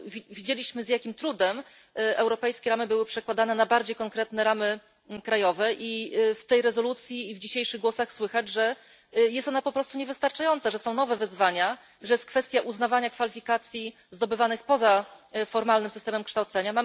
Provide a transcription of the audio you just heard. Widzieliśmy, z jakim trudem europejskie ramy były przekładane na bardziej konkretne ramy krajowe, i w tej rezolucji i w dzisiejszych głosach słychać, że są one po prostu niewystarczające, że są nowe wyzwania, że pojawia się kwestia uznawania kwalifikacji zdobywanych poza formalnym systemem kształcenia.